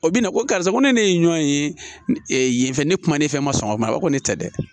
O bi na ko karisa ko ne ye ɲɔn ye yen fɛ ne kumanen fɛn ma sɔn ka mara o ne tɛ dɛ